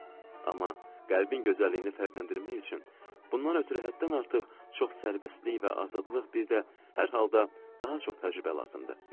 Amma qəlbin gözəlliyini fərqləndirmək üçün, bundan ötrü həddən artıq çox sərbəstlik və azadlıq, bir də hər halda daha çox təcrübə lazımdır.